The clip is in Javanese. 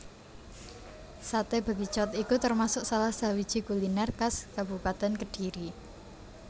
Saté Bekicot iku termasuk salah sawiji kuliner khas Kabupatèn Kediri